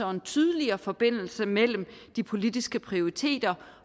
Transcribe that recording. og en tydeligere forbindelse mellem de politiske prioriteter